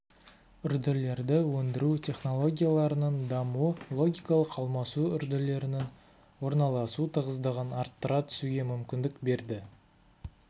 үрділерді өндіру технологияларының дамуы логикалық алмасу үрділерінің орналасу тығыздығын арттыра түсуге мүмкіндік берді